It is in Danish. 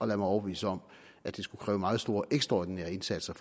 lade mig overbevise om at det skulle kræve meget store ekstraordinære indsatser